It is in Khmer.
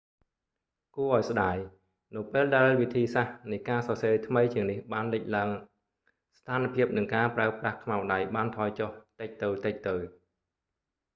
គួរឱ្យស្តាយ នៅពេលដែលវិធីសាស្រ្តនៃការសរសេរថ្មីជាងនេះបានលេចឡើង ស្ថានភាព និងការប្រើប្រាស់ខ្មៅដៃបានថយចុះតិចទៅៗ